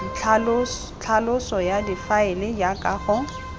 tlhaloso ya difaele jaaka go